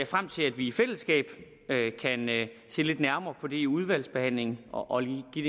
frem til at vi i fællesskab kan se lidt nærmere på det i udvalgsbehandlingen og give